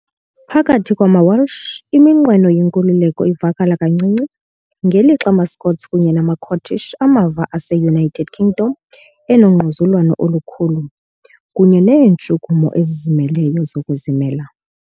Phakathi kwamaWelsh, iminqweno yenkululeko ivakala kancinci, ngelixa amaScots kunye namaCornish amava ase-United Kingdom enongquzulwano olukhulu, kunye neentshukumo ezizimeleyo zokuzimela .